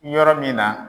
Yɔrɔ min na